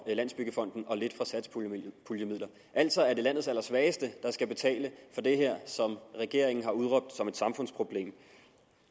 landsbyggefonden og lidt fra satspuljemidlerne altså er det landets allersvageste der skal betale for det her som regeringen har udråbt som et samfundsproblem